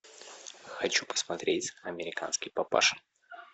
хочу посмотреть американский папаша